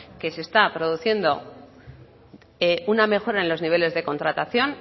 que se está produciendo una mejora en los niveles de contratación